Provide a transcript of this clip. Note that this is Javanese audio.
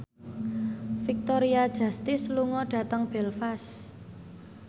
Victoria Justice lunga dhateng Belfast